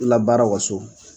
Labaara u ka so.